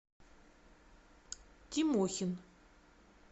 тимохин